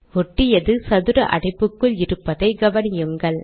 ஒட்டியது சதுர அடைப்புக்குள் இருப்பதை கவனியுங்கள்